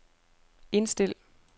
indstil